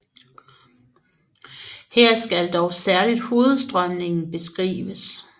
Her skal dog særligt hovedstrømningen beskrives